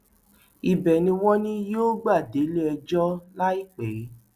ibẹ ni wọn ní yóò gbà déléẹjọ láìpẹ